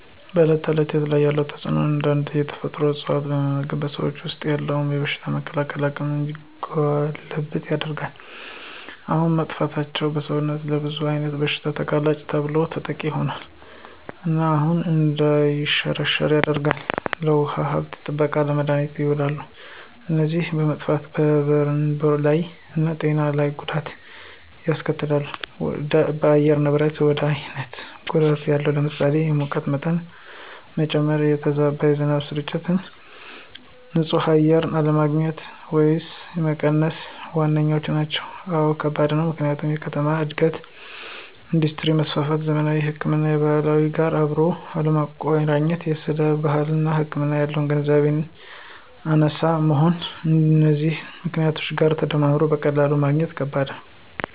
በዕለት ተዕለት ሕይወት ላይ ያለው ተጽእኖ አንዳንድ የተፈጥሮ እፅዋት መመግብ በሰውነታችን ወሰጥ ያሉትን የበሽታ የመከላከል አቅማችን እንዲጎለብት ያደርጉ ነበር። አሁን መጥፍታቸው ሰውነታችን ለብዙ አይነት ብሽታ ተጋላጭና በተሎ ተጠቂ ሆኖል። እናም አፈር እንዳይሸረሸራ ያደርጋል፣ ለውሃ ሀብት ጥበቃነት፣ ለመድሀኒትነት የውላሉ። እነዚ በመጠፍታቸው በንሮ ላይ እና በጤና ለይ ጎዳት ያስከትላሉ ደ በአየር ንብረት ላይ ብዙ አይነት ጎዳት አለው ለምሳሌ፦ የሙቀት መጨመ፣ የተዛባ የዝናብ ስርጭት፣ ን ፅህ አየር አለግኝት ወየም መቀነስ ዋነኛዎቹ ናቸው። አወ ከባድ ነው፦ ምክንያቱም የከተማ እድገት፣ የእንዱስትሪ መስፍፍት፣ ዘመናዊ ህክምናን ከባህላዊ ጋር አብሮ አለማቆረኘት ስለባህላዊ ህክምና ያለን ግንዛቤ አናሳ መሆን ከነዚህ ምክኔቶች ጋር ተዳምሮ በቀላሉ ማግኘት ከበድ ነው።